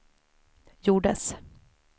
gjordes